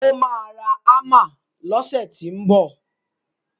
Ó máa ra Hámà lọsẹ̀ tínbọ̀.